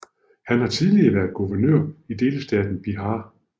Han har tidligere været guvernør i delstaten Bihar